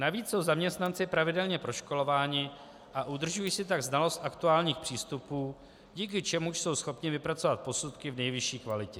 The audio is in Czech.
Navíc jsou zaměstnanci pravidelně proškolování a udržují si tak znalost aktuálních přístupů, díky čemuž jsou schopni vypracovat posudky v nejvyšší kvalitě.